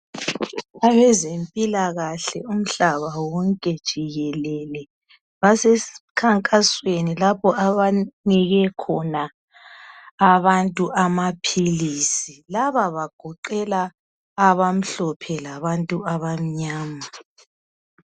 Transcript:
Abazempilakahle umhlaba wonke jikelele basesikhankasweni lapho abanike khona abantu amapilisi. Laba bagoqela abamhlophe labantu abamnyama.